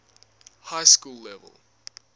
high school level